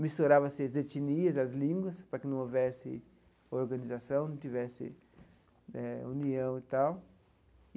misturava-se as etnias, as línguas, para que não houvesse organização, não tivesse eh união e tal.